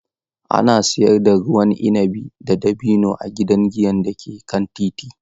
Ana siyar da ruwan inabi na dabino a gidan giyan da ke kan titi.